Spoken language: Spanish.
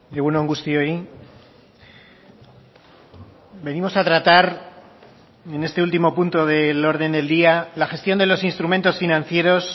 egun on guztioi venimos a tratar en este último punto del orden del día la gestión de los instrumentos financieros